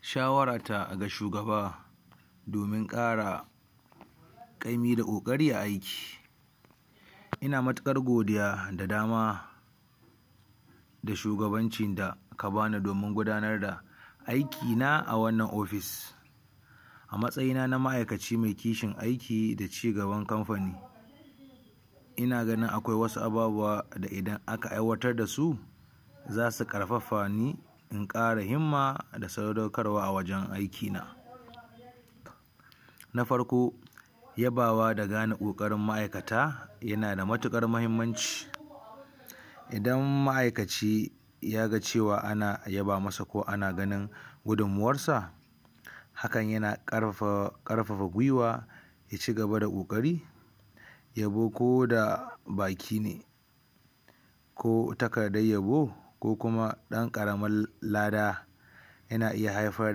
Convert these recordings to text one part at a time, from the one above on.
shawara ta ga shugaba domin ƙara ƙaimi da ƙoƙari a aiki ina matuƙar godiya da dama da shugabancin da aka bani domin gudanar da aiki na a wannan ofis a matsayi na ma'aikaci mai kishin aiki da ci gaban kampani ina ganin akwai wasu ababuwa da idan aka aiwatar da su zasu ƙarfafa ni in ƙara himma da sadaukarwa a wajen aiki na. na farko yabawa da gane ƙoƙarin ma'aikata yana da matuƙar mahimmanci idan ma'aikaci yaga cewa ana yaba masa ko ana ganin gudumawar sa hakan yana ƙarfafa gwiwa ya ci gaba da ƙoƙari, yabo koda baki ne ko takardar yabo ko kuma ɗan ƙaramin lada yana iya haifar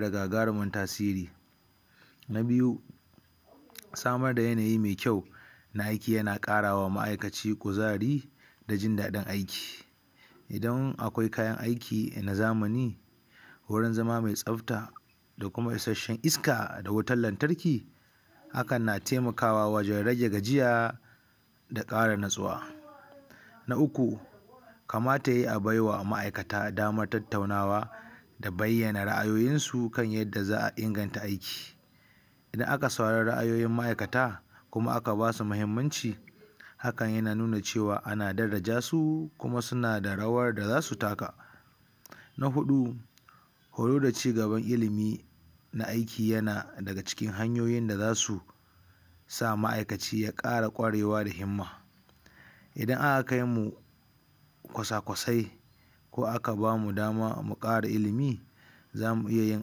da gagarumin tasiri. Na biyu samar da yanayi mai kyau na aiki yana ƙarawa ma'aikaci kuzari da jin daɗin aiki idan akwai kayan aiki na zamani wurin zama mai tsfta da kuma isashen iska da wutar lantarki hakan na taimakawa wajen rage gajiya da ƙara natsuwa. Na uku kamata yayi a baiwa ma'aikata dama tattaunawa da bayyana ra'ayoyin su da yanda za'a inganta aiki idan aka saurari ra'ayoyin ma'aikata kuma aka basu mahimmanci hakan yana nuna cewa ana daraja su kuma suna da rawar da zasu taka na huɗu koyo da ci gaban ilimi na aiki yana daga cikin hanyoyin da zasu sa ma'aikaci ya ƙara ƙwarewa da himma idan aka kaimu kusakusai ko aka bamu dama mu ƙara ilimi zamu iya yin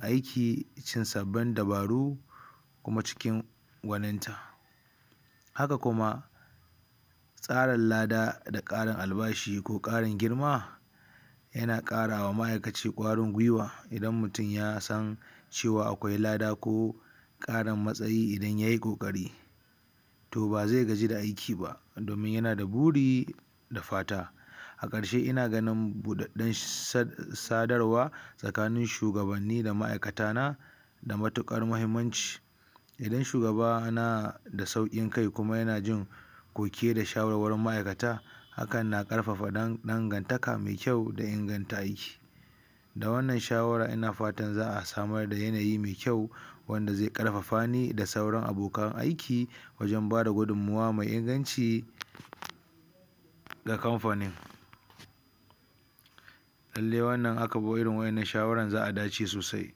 aiki cikin sabbin dabaru kuma ciki gwaninta haka kuma tsarin lada da ƙarin albashi ko ƙarin girma, yana ƙarawa ma'aikaci ƙwarin gwiwa idan mutum ya san cewa akwai lada ko ƙarin matsayi idan yayi ƙoƙari to bazai gaji da aiki ba domin yana da buri da fata. a ƙarshe ina ganin buɗaɗɗar sadarwa tsakanin shugabanni da ma'aikata na da matuƙar mahimmanci idan shugaba nada sauƙin kai kuma yana jin koke da shawarwarin ma'aikata hakan na ƙarfafa dangantaka mai kyau da inganta aiki da wannan shawara ina fatan za'a samar da yanayi mai kyau wanda zai ƙarfafa ni da sauran abokan aiki wanda zai bada gudummawa mai inganci a kamfanin. lalle wannan in akabi irin wannan shawaran za'a dace sosai.